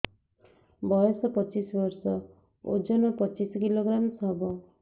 ବୟସ ପଚିଶ ବର୍ଷ ଓଜନ ପଚିଶ କିଲୋଗ୍ରାମସ ହବ